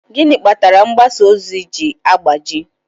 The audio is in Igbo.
Gịnị kpatara mgbasa ozi ji agbaji?